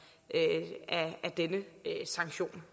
er en del af denne sanktion